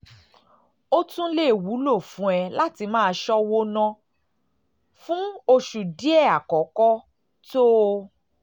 ó tún lè wúlò fún ẹ láti máa ṣọ́wó ná máa ṣọ́wó ná fún oṣù díẹ̀ àkọ́kọ́ tó o